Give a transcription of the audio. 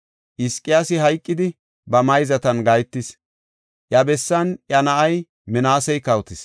Hizqiyaasi hayqidi, ba mayzatan gahetis; iya bessan iya na7ay Minaasey kawotis.